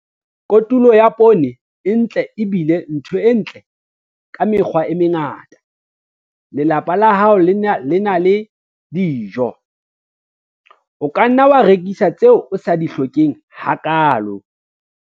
Kotulo ya poone e ntle e bile ntho e ntle ka mekgwa e mengata - lelapa la hao le na le dijo. O ka nna wa rekisa tseo o sa di hlokeng hakaalo.